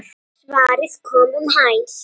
Svarið kom um hæl.